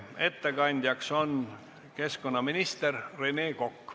Ettekandja on keskkonnaminister Rene Kokk.